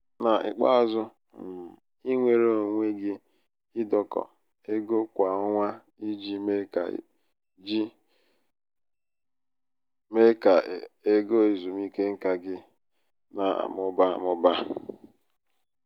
n'ikpeazụ um i nweere onwe gị idokọ ego kwa ọnwa i ji mee ka ji mee ka égo ezumike nká gị um na-amụba amụba.